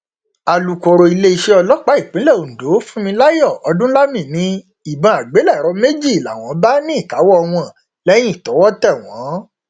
alukọrọ iléeṣẹ ọlọpàá ìpínlẹ ondo funmilayo odúnlami ni ìbọn àgbélẹrọ méjì làwọn bá ní ìkáwọ wọn lẹyìn tọwọ tẹ wọn